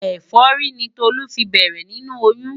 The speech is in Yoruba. Ẹ̀fọ́rí ni Tolú fi bẹ̀rẹ̀ nínú oyún.